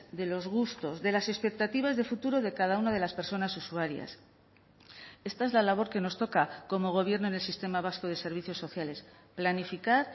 de los gustos de las expectativas de futuro de cada una de las personas usuarias esta es la labor que nos toca como gobierno en el sistema vasco de servicios sociales planificar